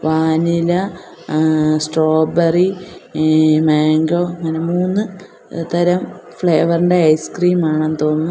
Vanilla ഏഹ് strawberry ഈഹ് mango അങ്ങനെ മൂന്ന് തരം ഫ്ലേവർ ഇൻ്റെ ഐസ് ക്രീം ആണെന്ന് തോന്നുന്നു.